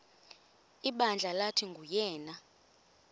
ibandla lathi nguyena